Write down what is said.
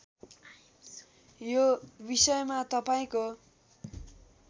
यो विषयमा तपाईँको